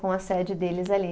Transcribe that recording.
Com a sede deles ali.